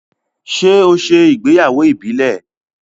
ṣe o ṣe ìgbéyàwó ìbílè?